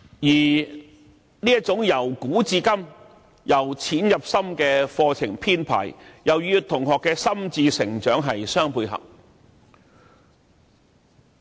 再者，這種由古至今、由淺入深的課程編排又與同學的心智成長相配合。